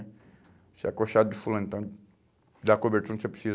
Isso é acochado de fulano, então dá cobertura onde você precisa.